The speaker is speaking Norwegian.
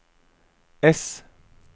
ess